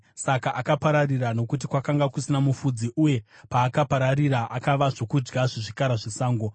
Saka akapararira nokuti kwakanga kusina mufudzi, uye paakapararira akava zvokudya zvezvikara zvesango.